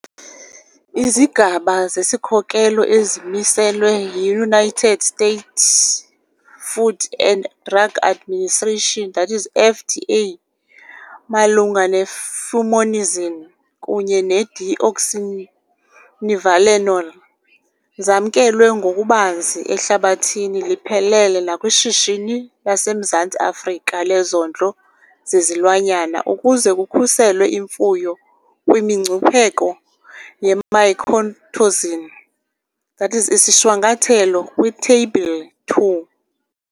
Izigaba zesikhokelo ezimiselwe yiUnited States Food and Drug Administration, that is FDA, malunga ne-fumonisin kunye ne-deoxynivalenol zamkelwe ngokubanzi ehlabathini liphelele nakwishishini laseMzantsi Afrika lezondlo zezilwanyana ukuze kukhuselwe imfuyo kwimingcipheko ye-mycotoxin, that is ishwankathelwe kwiTheyibhile 2.